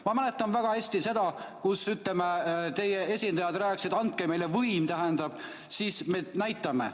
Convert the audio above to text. Ma mäletan väga hästi, kui teie esindajad rääkisid, et andke meile võim, siis me alles näitame.